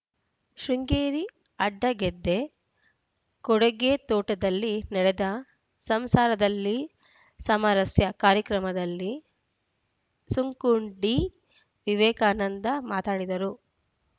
ಶೃಂಗೇರಿ ಅಡ್ಡಗೆದ್ದೆ ಕೊಡಿಗೆತೋಟದಲ್ಲಿ ನಡೆದ ಸಂಸಾರದಲ್ಲಿ ಸಾಮರಸ್ಯ ಕಾರ್ಯಕ್ರಮದಲ್ಲಿ ಸುಂಕುಂಡಿ ವಿವೇಕಾನಂದ ಮಾತನಾಡಿದರು